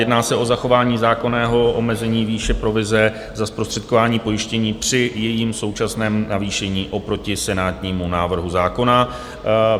Jedná se o zachování zákonného omezení výše provize za zprostředkování pojištění při jejím současném navýšení oproti senátnímu návrhu zákona.